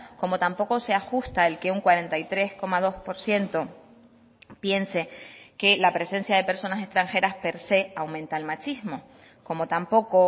como tampoco se ajusta el que un cuarenta y tres coma dos por ciento piense que la presencia de personas extranjeras per se aumenta el machismo como tampoco